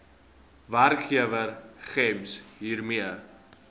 werkgewer gems hiermee